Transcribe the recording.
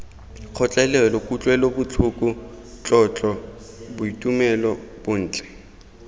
kgotlelelo kutlwelobotlhoko tlotlo boitumelo bontle